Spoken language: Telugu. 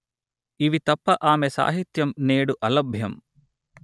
ఇవి తప్ప ఆమె సాహిత్యం నేడు అలభ్యం